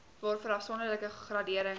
waarvoor afsonderlike graderings